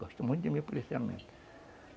Gosto muito de meu policiamento.